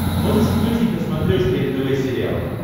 можешь включить на смотрешке нтв сериал